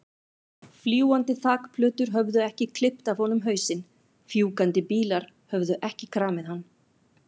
Fljúgandi þakplötur höfðu ekki klippt af honum hausinn, fjúkandi bílar höfðu ekki kramið hann.